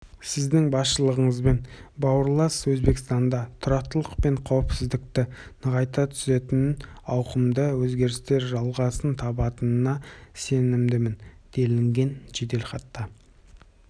сіздің басшылығыңызбен бауырлас өзбекстанда тұрақтылық пен қауіпсіздікті нығайта түсетін ауқымды өзгерістер жалғасын табатынына сенімдімін делінген жеделхатта